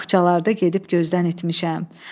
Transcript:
Baxçalarda gedib gözdən etmişəm.